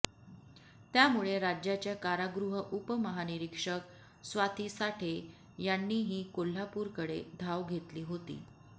त्यामुळे राज्याच्या कारागृह उपमहानिरिक्षक स्वाती साठे यांनीही कोल्हापुरकडे धाव घेतली होती